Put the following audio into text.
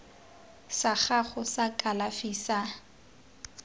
sa gago sa kalafi sa